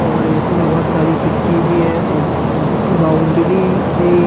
और इसमे बहुत सारी खिड़की भी है और बाउंड्री है।